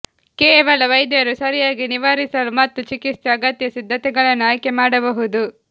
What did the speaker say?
ಕೇವಲ ವೈದ್ಯರು ಸರಿಯಾಗಿ ನಿವಾರಿಸಲು ಮತ್ತು ಚಿಕಿತ್ಸೆ ಅಗತ್ಯ ಸಿದ್ಧತೆಗಳನ್ನು ಆಯ್ಕೆಮಾಡಬಹುದು